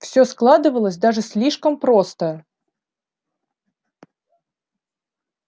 всё складывалось даже слишком просто